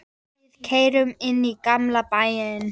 Við keyrum inn í gamla bæinn.